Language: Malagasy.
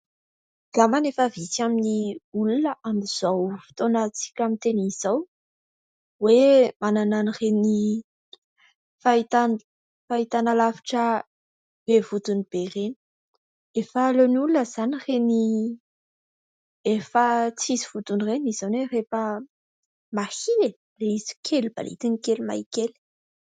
Angambany efa vitsy amin'ny olona amin'izao fotoanantsika miteny izao, hoe manana an'reny fahitana lavitra be vodiny be ireny. Efa aleon'ny olona izany ireny efa tsisy vodiny ireny; izany hoe rehefa mahia e! ilay izy kely balitiny kely mahia kely.